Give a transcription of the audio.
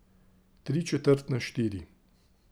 Tričetrt na štiri.